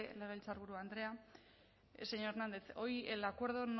legebiltzarburu andrea señor hernández hoy el acuerdo